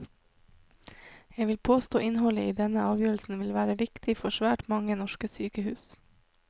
Jeg vil påstå innholdet i denne avgjørelsen vil være viktig for svært mange norske sykehus.